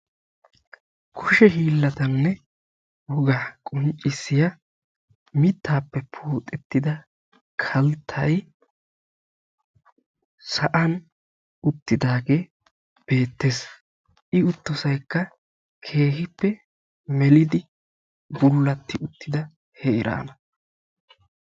Kushe hiillatanne wogaa qonccissiya mittaappe poxettida kalttay sa'an uttidaagee beettees. I uttosaykka keehippe melidi bullatti uttida heeraana.